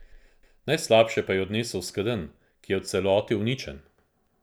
Najslabše pa jo je odnesel skedenj, ki je v celoti uničen.